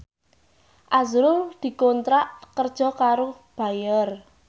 azrul dikontrak kerja karo Bayer